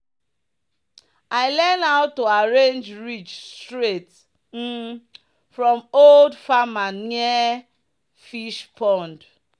"i learn how to arrange ridge straight um from old farmer near fishpond."